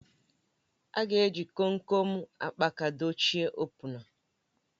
A ga-eji Kom kom akpaka dochie opuna